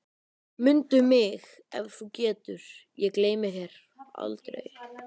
Mundu mig ef þú getur, ég gleymi þér aldrei